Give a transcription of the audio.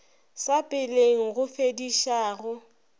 sa peleng go fediša go